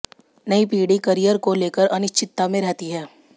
नई पीढ़ी कॅरियर को लेकर अनिश्चितता में रहती है